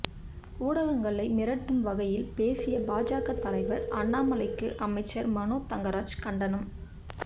ஊடகங்களை மிரட்டும் வகையில் பேசிய பாஜக தலைவர் அண்ணாமலைக்கு அமைச்சர் மனோ தங்கராஜ் கண்டனம்